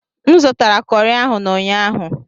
M zụtara kọri ahụ n'ụnyaahụ.